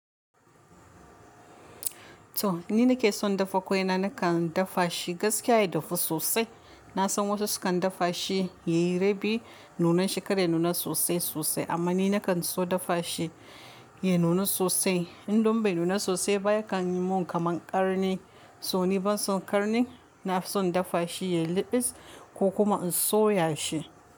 To ni nake son dafa, kwaina na kan dafa shi gaskiya ya dafu sosai. Na san wasu su kan dafa shi yayi rabi, nunan shi kar ya nuna sosai-sosai amma ni na kan so dafa shi ya nuna sosai. In don bai nuna sosai ba ya kan yi mun kamar ƙarni. So ni ban son ƙarni, na son dafa shi ya yi liɓis ko kuma in soya shi.